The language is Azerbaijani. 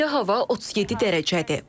Bizdə hava 37 dərəcədir.